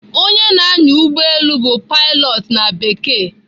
Onye na-anya ụgbọelu bụ "pilot" na Bekee.